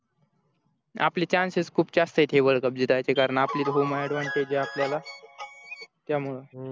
आपले chances खूप जास्त येत हे world cup जिंकायचे कारण आपली home advantage आपल्याला त्यामुळे